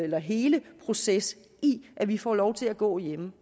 hele proces i at vi får lov til at gå hjemme